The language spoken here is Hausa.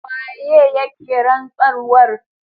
Waye yake rantsarwar?